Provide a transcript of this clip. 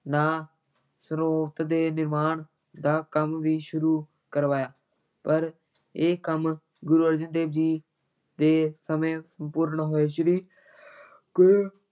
ਨਾ ਸਰੋਤ ਦੇ ਨਿਰਮਾਣ ਦਾ ਕੰਮ ਵੀ ਸ਼ੁਰੂ ਕਰਵਾਇਆ, ਪਰ ਇਹ ਕੰਮ ਗੁਰੂ ਅਰਜਨ ਦੇਵ ਜੀ ਦੇ ਸਮੇਂ ਸੰਪੂਰਨ ਹੋਏ, ਸ੍ਰੀ ਗੁਰੂ